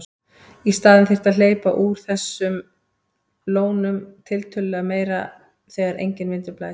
Í staðinn þyrfti að hleypa úr þessum lónum tiltölulega meira þegar enginn vindur blæs.